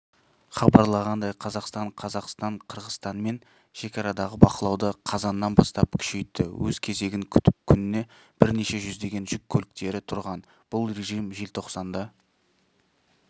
хабарланғандай қазақстан қазақстан қырғызстанмен шекарадағы бақылауды қазаннан бастап күшейтті өз кезегін күтіп күніне бірнеше жүздеген жүк көліктері тұрған бұл режим желтоқсанда